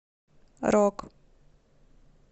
рок